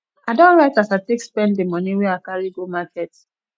i don write as i take spend di moni wey i carry go market